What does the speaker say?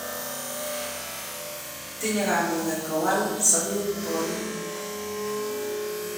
Tinyei kamuget kuwal sope ponin.